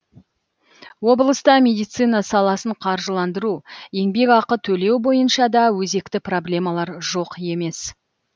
облыста медицина саласын қаржыландыру еңбекақы төлеу бойынша да өзекті проблемалар жоқ емес